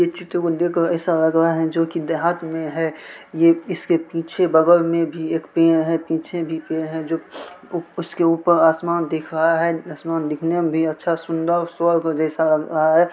ये चित्र को देख कर ऐसा लग रहा है जोकि देहात मे है ये इसके पीछे बगल मे भी एक पेड़ है पीछे भी पेड़ है जो उसके ऊपर आसमान दिख रहा है आसमान दिखने मे भी अच्छा सुंदर और स्वर्ग जैसा लग रहा है।